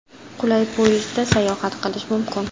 Qulay poyezdda sayohat qilish mumkin.